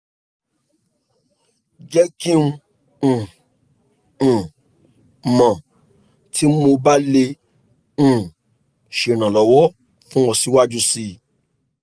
jẹ ki n um um mọ ti mo ba le um ṣe iranlọwọ fun ọ siwaju sii